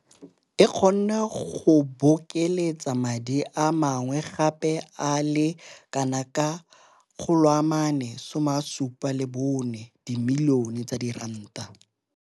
e kgone go bokeletsa madi a mangwe gape a le kanaka R474 milione.